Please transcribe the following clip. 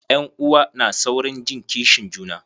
Ƴan'uwa na saurin jin kishin juna.